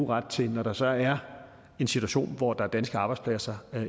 ret til når der så er en situation hvor der er danske arbejdspladser